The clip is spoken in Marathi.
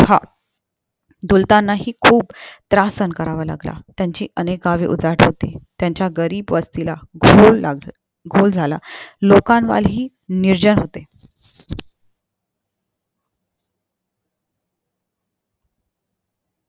आह दुलतानाही खूप त्रास सहन करावा लागला त्यांची अनेक गावे उजाड होती त्यांच्या घरी बसतील घोर लागला घोर झाला लोकांवाली निर्जन होते